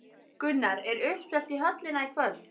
Gunnar, er uppselt í höllina í kvöld?